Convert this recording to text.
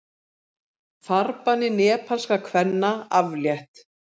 Farbanni nepalskra kvenna aflétt